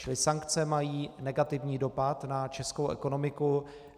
Čili sankce mají negativní dopad na českou ekonomiku.